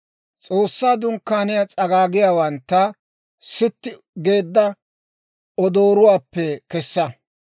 «S'oossaa Dunkkaaniyaa s'agaagiyaawantta sitti geedda odooruwaappe kessa.